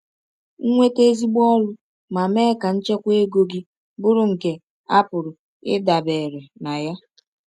“Nweta ezigbo ọrụ ma mee ka nchekwa ego gị bụrụ nke a pụrụ ịdabere na ya.”